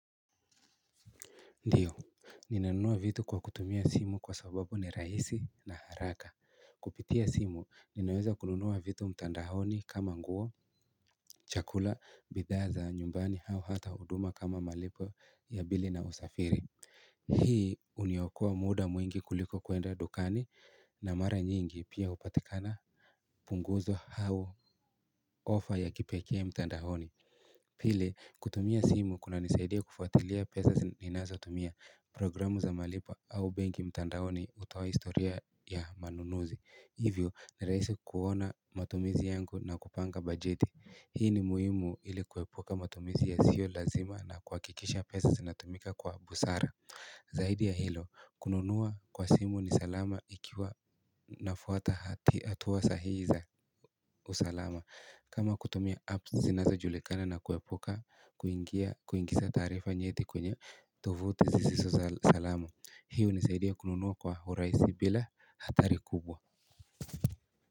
Ndiyo, ninanunua vitu kwa kutumia simu kwa sababu ni raisi na haraka. Kupitia simu, ninaweza kununua vitu mtandahoni kama nguo, chakula, bidhaa za, nyumbani hao hata uduma kama malipo ya bili na usafiri. Hii, uniokoa muda mwingi kuliko kuenda dukani na mara nyingi pia upatikana punguzo hao offer ya kipekee mtandahoni. Pile, kutumia simu kuna nisaidia kufuatilia pesa ninazo tumia programu za malipo au bengi mtandaoni hutoa historia ya manunuzi Hivyo, niraisi kuona matumizi yangu na kupanga bajeti Hii ni muhimu ili kuepuka matumizi yasio lazima na kuakikisha pesa zinatumika kwa busara Zaidi ya hilo, kununua kwa simu ni salama ikiwa nafuata hati hatua sahiza usalama kama kutumia apps zinazo julikana na kuepuka kuingia kuingisa taarifa nyeti kwenye tovuti zisiso za salama hi hunisaidia kununua kwa huraisi bila hatari kubwa.